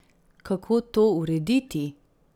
Kako to urediti?